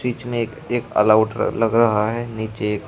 बीच मे एक एक ऑल आउट लग रहा है नीचे एक--